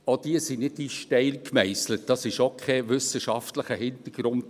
Auch diese sind nicht in Stein gemeisselt, dahinter steckt auch kein wissenschaftlicher Hintergrund.